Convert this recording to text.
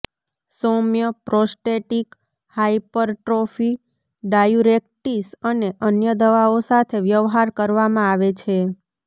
સૌમ્ય prostatic hypertrophy diuretics અને અન્ય દવાઓ સાથે વ્યવહાર કરવામાં આવે છે